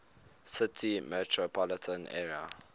city metropolitan area